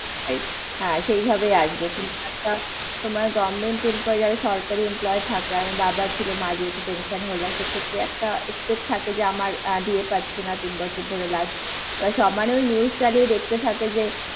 হ্যাঁ, সেইভাবেই আসবে। কিন্তু একটা, তোমার government employee যারা সরকারি employee থাকে, আমার বাবা ছিল মা যেহেতু একটা pension holder সেক্ষেত্রে একটা expect থাকে যে আমার DA পাচ্ছি না তিন বছর ধরে, last সমানে ওই news চালিয়ে দেখতে থাকে যে